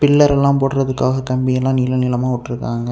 பில்லரெல்லா போட்றதுக்காக கம்பியெல்லா நீள நீளமா உட்ருக்காங்க.